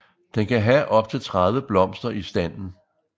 Den kan have op til 30 blomster i standen